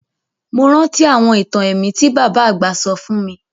Mo rántí àwọn itan ẹ̀mí ti baba àgbà sọ fun mi